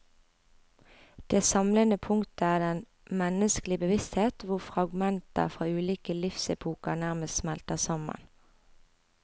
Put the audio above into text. Det samlende punktet er den menneskelige bevissthet hvor fragmenter fra ulike livsepoker nærmest smelter sammen.